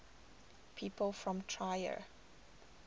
people from trier